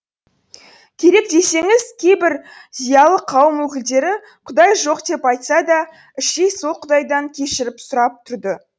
керек десеңіз кейбір зиялы қауым өкілдері құдай жоқ деп айтса да іштей сол құдайдан кешіріп сұрап тұрды